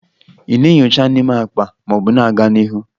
Ị na-enyocha n'ime akpa ma ọ bụ na-aga n'ihu?